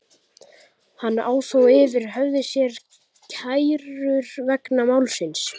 Hann á þó yfir höfði sér kærur vegna málsins.